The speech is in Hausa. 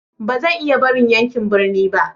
Ba zan iya barin yankin birni ba.